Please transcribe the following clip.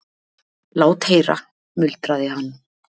Lát heyra, muldraði hann.